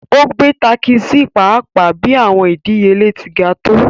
O gbe takisi paapaa bi awọn idiyele ti ga to